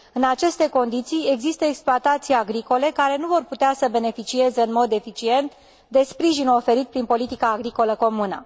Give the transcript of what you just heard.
În aceste condiții există exploatații agricole care nu vor putea să beneficieze în mod eficient de sprijinul oferit prin politica agricolă comună.